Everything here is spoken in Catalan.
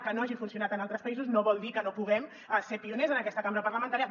que no hagi funcionat en altres països no vol dir que no en puguem ser pioners en aquesta cambra parlamentària